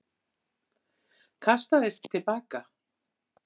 Kastaðist til baka.